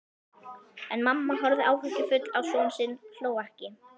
En mamma horfði áhyggjufull á soninn, hló ekki.